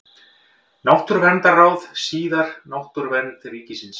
Náttúruverndarráð, síðar Náttúruvernd ríkisins.